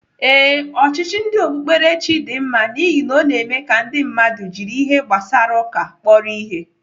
Ee, ọchịchị ndị okpukperechi dị mma n'ihi ọ na-eme ka ndị mmadụ jiri ihe gbasara ụka kpọrọ ihe.